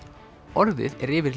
orðið er yfir